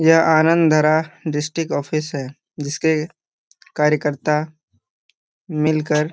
यहां अनंधरा district office हैजिसके कार्यकर्ता मिलकर--